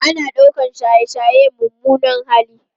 Ana ɗaukar shaye-shaye mummunan hali